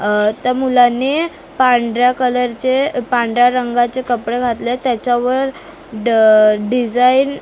अ त्या मुलाने पांढऱ्या कलर चे पांढऱ्या रंगाचे कपडे घातलेत त्याच्यावर ड अ डिझाईन --